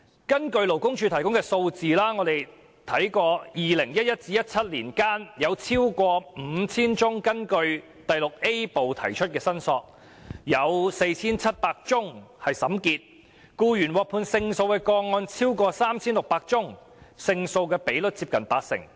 根據勞工處提供的數字，在2011年至2017年間，有超過 5,000 宗根據第 VIA 部提出的申索，其中 4,700 宗已經審結，僱員獲判勝訴的個案超過 3,600 宗，勝訴比率接近八成。